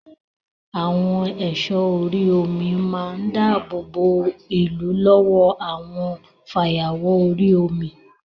Àwọn ẹ̀sọ́ orí omi máa ń dáàbò bo ìlú lọ́wọ́ àwọn fayawọ̀ orí omi